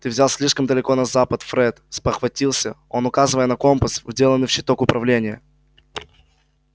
ты взял слишком далеко на запад фред спохватился он указывая на компас вделанный в щиток управления